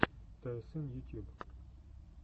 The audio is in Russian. тсн ютьюб